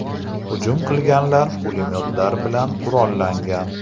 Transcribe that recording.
Hujum qilganlar pulemyotlar bilan qurollangan.